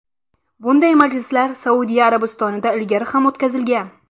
Bunday majlislar Saudiya Arabistonida ilgari ham o‘tkazilgan.